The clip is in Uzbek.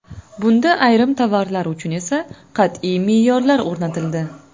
Bunda ayrim tovarlar uchun esa qat’iy me’yorlar o‘rnatildi.